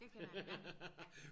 det kender jeg ja